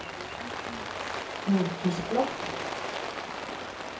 notisblokk